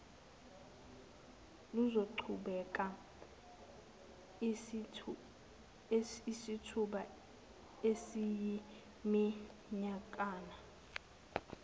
luzoqhubeka isithuba esiyiminyakana